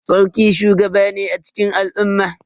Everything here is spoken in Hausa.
Sarki shugaba ne a cikin al'umma.